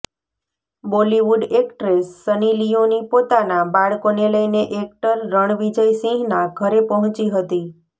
Bollywood actress Sunny Leone પોતાના બાળકોને લઈને એક્ટર રણવિજય સિંહના ઘરે પહોંચી હતી